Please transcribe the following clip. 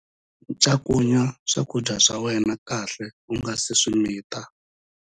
Cakunya swakudya swa wena kahle u nga si swi mita.